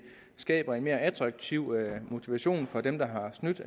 skaber en mere attraktiv motivation for dem der har snydt